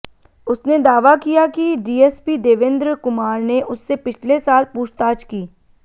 उसने दावा किया कि डीएसपी देवेंद्र कुमार ने उससे पिछले साल पूछताछ की